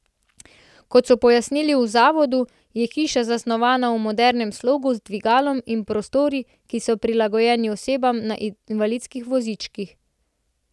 Kot so pojasnili v zavodu, je hiša zasnovana v modernem slogu z dvigalom in prostori, ki so prilagojeni osebam na invalidskih vozičkih.